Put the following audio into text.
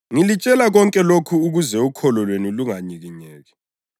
“Ngilitshela konke lokhu ukuze ukholo lwenu lunganyikinyeki.